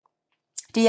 DR1